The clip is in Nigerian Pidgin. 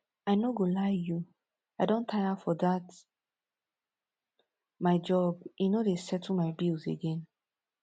i no go lie you i don tire for dat my job e no dey settle my bills again